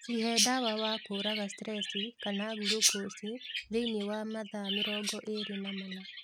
Cihe dawa wa kũraga stressi kana glucosi thĩinĩ wa mathaa mĩrongo ĩlĩ na mana